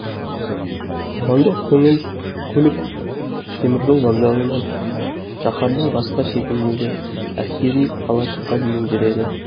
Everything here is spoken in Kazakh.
қоғамдық көлік теміржол вокзалынан шаһардың басқа шетіндегі әскери қалашыққа дейін жүреді